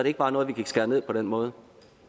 ikke bare noget vi kan skære ned på den måde